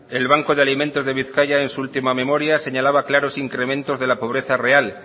el banco de alimentos de bizkaia en su última memoria señalaba claros incrementos de la pobreza real